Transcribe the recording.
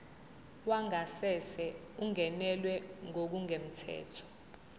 wangasese ungenelwe ngokungemthetho